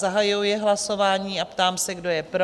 Zahajuji hlasování a ptám se, kdo je pro?